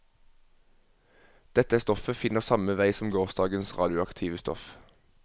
Dette stoffet finner samme vei som gårsdagens radioaktive stoff.